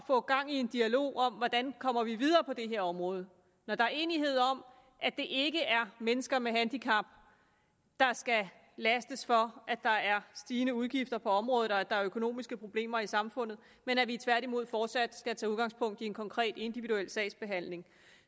få gang i en dialog om hvordan vi kommer videre på det her område når der er enighed om at det ikke er mennesker med handicap der skal lastes for at der er stigende udgifter på området og at der er økonomiske problemer i samfundet men at vi tværtimod fortsat skal tage udgangspunkt i en konkret individuel sagsbehandling